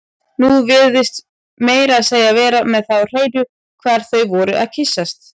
Þú virtist meira að segja vera með það á hreinu hvar þau væru að kyssast